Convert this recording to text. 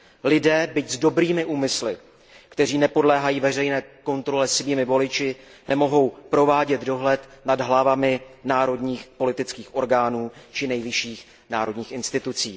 Lidé, byť s dobrými úmysly, kteří nepodléhají veřejné kontrole svými voliči, nemohou provádět dohled nad hlavami národních politických orgánů či nejvyšších národních institucí.